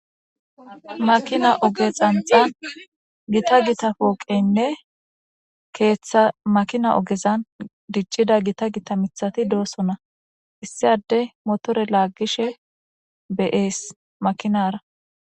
Makina oge pantan gita gita pooqenne keeththa makina ogezan diccida gita gita mittati doosona. Issi adde mootor lagishshe be'ees makinara